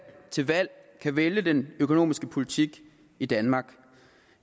til valg kan vælge den økonomiske politik i danmark